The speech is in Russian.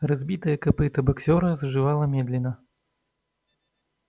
разбитое копыто боксёра заживало медленно